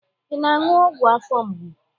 Ị na-aṅụ ọgwụ afọ mgbu?